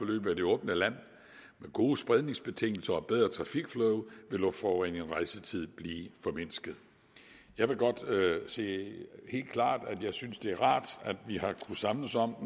det åbne land med gode spredningsbetingelser og et bedre trafikflow vil luftforureningen og rejsetiden blive formindsket jeg vil godt sige helt klart at jeg synes det er rart at vi har kunnet samles om